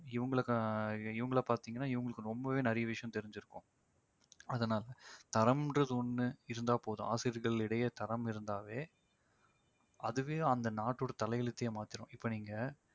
இவங்களுக்கு ஆஹ் இவங்கள பாத்தீங்கன்னா இவங்களுக்கு ரொம்பவே நிறைய விஷயம் தெரிஞ்சிருக்கும். அதனால தரம்ன்றது ஒன்று இருந்தா போதும் ஆசிரியர்களிடையே தரம் இருந்தாவே அதுவே அந்த நாட்டோட தலையெழுத்தையே மாத்திடும் இப்ப நீங்க